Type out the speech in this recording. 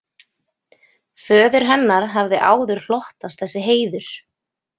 Föður hennar hafði áður hlotnast þessi heiður.